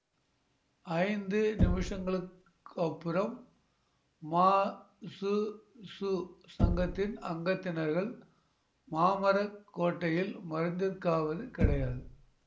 ஐந்து நிமிஷங்களுக்கப்புறம் மாசுசு சங்கத்தின் அங்கத்தினர்கள் மாமர கோட்டையில் மருந்திற்காவது கிடையாது